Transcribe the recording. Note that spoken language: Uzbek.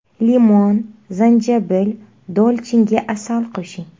Limon, zanjabil, dolchinga asal qo‘shing.